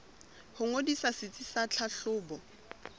ho ngodisa setsi sa tlhahlobo